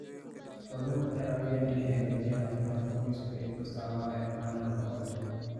Xooluhu waxay caawiyaan inay hagaajiyaan caafimaadka qoyska iyagoo isticmaalaya caano nafaqo leh.